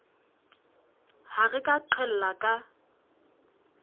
ha re ka qhella ka